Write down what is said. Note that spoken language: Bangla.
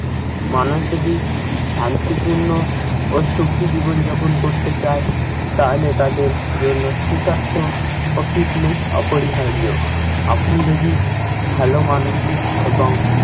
মানুষ যদি শান্তিপূর্ণ ও সুখী জীবনযাপন করতে চাই তাহলে তাদের জন্য সুস্বাস্থ্য ও fitness অপরিহার্য। আপনি যদি ভালো মানসিক এবং